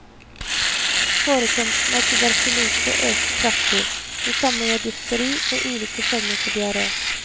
Forekomsten av tuberkulose øker kraftig, det samme gjør difteri og ulike former for diaré.